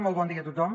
molt bon dia a tothom